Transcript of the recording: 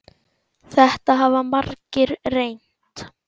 Þetta hafa margir reynt.